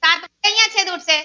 સાત આયા ઉડસે છેદ ઉડશે